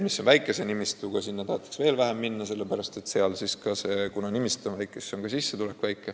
Kuna nimistu on väike, siis on ka sissetulek väike.